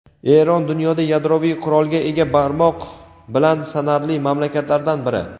Eron dunyoda yadroviy qurolga ega barmoq bilan sanarli mamlakatlardan biri.